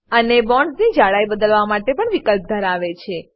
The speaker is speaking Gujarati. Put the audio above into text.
અને બોન્ડ્સની જડાઈ બદલવા માટે પણ વિકલ્પ ધરાવે છે